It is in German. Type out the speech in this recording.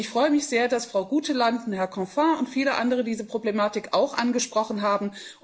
Und ich freue mich sehr, dass Frau Guteland und Herr Canfin und viele andere diese Problematik auch angesprochen haben.